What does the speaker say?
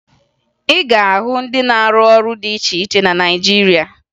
Ị ga-ahụ ndị na-arụ ọrụ dị iche iche na Naịjirịa